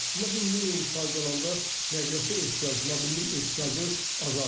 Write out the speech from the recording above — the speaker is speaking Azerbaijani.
Amma bu minimum sayda olanda nəqliyyata ehtiyacı, mobillik ehtiyacı azalır.